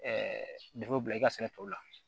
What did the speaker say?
bila i ka sɛnɛ tɔw la